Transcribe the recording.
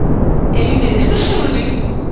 ਇਹ ਵੀ ਮੇਰੀ ਗੱਲ ਸੁਣ ਲਈ।